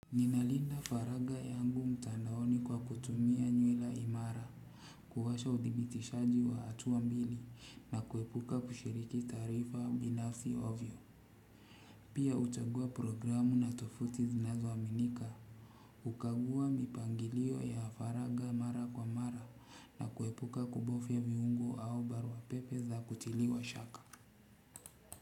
Ninalinda Faraga yangu mtandaoni kwa kutumia nywila imara, kuwasha udhibitishaji wa atuwa mbili, na kuepuka kushiriki taarifa binafsi ovyo. Pia uchaguwa programu na tofuti zinazoaminika. Ukaguwa mipangilio ya Faraga mara kwa mara, na kuepuka kubofya viungo au barua pepe za kutiliwa shaka.